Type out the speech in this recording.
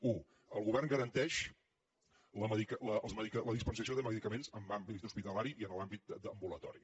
u el govern garanteix la dispensació de medicaments en àmbit hospitalari i en l’àmbit ambulatori